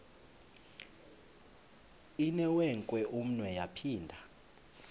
inewenkwe umnwe yaphinda